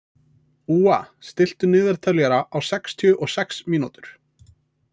Úa, stilltu niðurteljara á sextíu og sex mínútur.